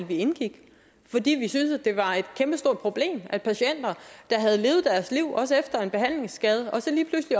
vi indgik fordi vi syntes det var et kæmpestort problem at patienter der havde levet deres liv også efter en behandlingsskade så lige pludselig